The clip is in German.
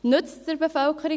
Nützt es der Bevölkerung?